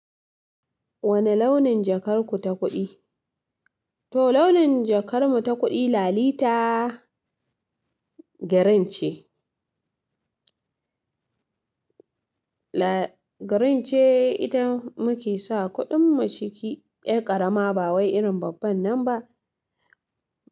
Wani launin jakar ku ta kuɗi? To, launin jakar mu ta kuɗi lalita green ce. Green ce ita muke sa kuɗin mu ciki. Erƙarama ba wai irin babban nan ba.